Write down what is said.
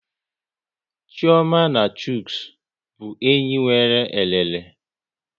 Chioma na Chuks bụ enyi nwere elele